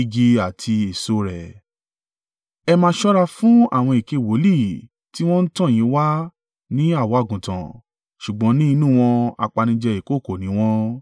“Ẹ máa ṣọ́ra fún àwọn èké wòlíì tí wọ́n ń tọ̀ yín wá ní àwọ̀ àgùntàn, ṣùgbọ́n ní inú wọn apanijẹ ìkookò ni wọ́n.